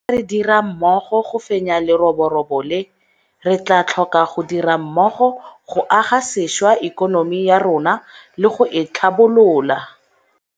Jaaka re dira mmogo go fenya leroborobo le, re tla tlhoka go dira mmogo go aga sešwa ikonomi ya rona le go e tlhabolola.